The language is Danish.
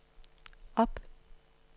op